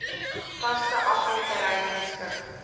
vaste afvalterrein beskik